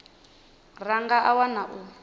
ra nga a wana u